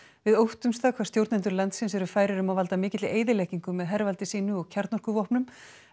við óttumst það hvað stjórnendur landsins eru færir um að valda mikilli eyðileggingu með hervaldi sínu og kjarnorkuvopnum